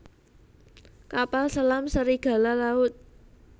Kapal selam Serigala Laut